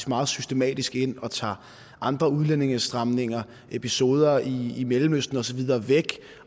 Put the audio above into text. meget systematisk ind og tager andre udlændingestramninger episoder i mellemøsten og så videre væk